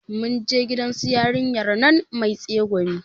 Mun je gidan su yarinyar nan mai tsegumi